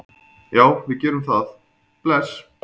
Já, við gerum það. Bless.